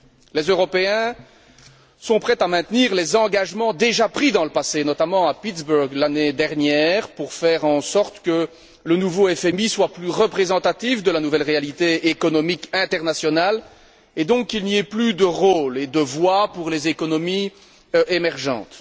Les Européens sont prêts à maintenir les engagements déjà pris dans le passé, notamment à Pittsburg, l'année dernière, pour faire en sorte que le nouveau FMI soit plus représentatif de la nouvelle réalité économique internationale et, donc, qu'il n'y ait plus de rôle et de voie pour les économies émergentes.